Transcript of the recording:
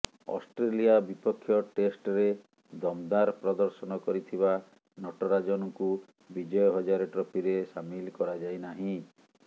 Australia ବିପକ୍ଷ ଟେଷ୍ଟରେ ଦମଦାର ପ୍ରଦର୍ଶନ କରିଥିବା ନଟରାଜନଙ୍କୁ ବିଜୟ ହଜାରେ ଟ୍ରଫିରେ ସାମିଲ କରାଯାଇନାହିଁ